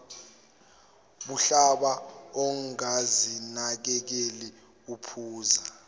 budlabha ongazinakekeli uphuza